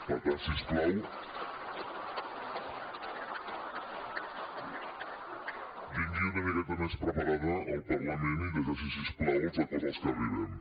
per tant si us plau vingui una miqueta més preparada al parlament i llegeixi’s si us plau els acords a què arribem